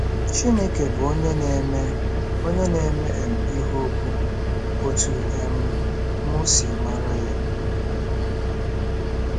Chineke Bụ “Onye Na-eme “Onye Na-eme um Ihe ukwu”—Otú um M Si Mara Ya